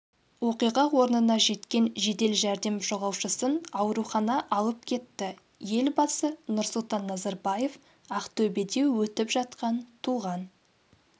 оқиға орнына жеткен жедел жәрдем жолаушысын аурухана алып кетті елбасы нұрсұлтан назарбаев ақтөбеде өтіп жатқан туған